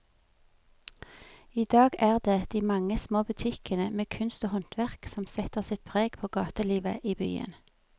I dag er det de mange små butikkene med kunst og håndverk som setter sitt preg på gatelivet i byen.